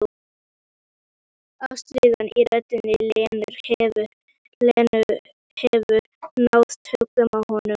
Ástríðan í rödd Lenu hefur náð tökum á honum.